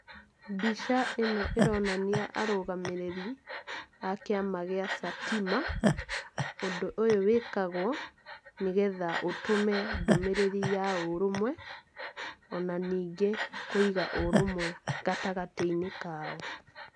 Mbica ĩno ĩronania arũgamĩrĩri a kĩama gĩa Satima. Ũndũ ũyũ wĩkagũo nĩgetha ũtũme ndũmĩrĩri ya ũrũmwe, ona ningĩ kũiga ũrũmwe gatagatĩ-inĩ kao.